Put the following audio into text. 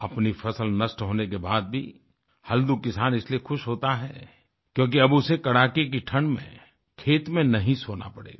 अपनी फसल नष्ट होने के बाद भी हल्दू किसान इसलिए खुश होता है क्योंकि अब उसे कड़ाके की ठंड में खेत में नहीं सोना पड़ेगा